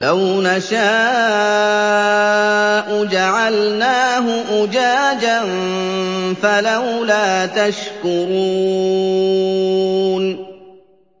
لَوْ نَشَاءُ جَعَلْنَاهُ أُجَاجًا فَلَوْلَا تَشْكُرُونَ